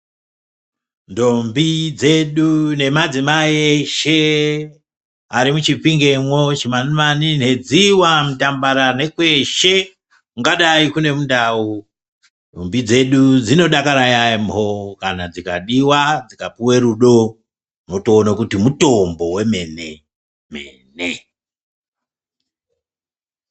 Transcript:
Ntombi dzedu nemadzimai eshe ari muChipingemwo, Chimanimani, Nhedziwa, Mutambara nekweshe kungadai kune mundau, ndombi dzedu dzinodakara yaempho kana dzikadiwa dzikapiwe rudo. Utoono kuti mutombo wemene-mene.